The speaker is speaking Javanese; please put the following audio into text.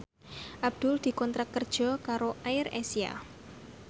Abdul dikontrak kerja karo AirAsia